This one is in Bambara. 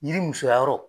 Yiri musoya yɔrɔ